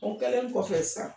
O kɛlen kɔfɛ sisan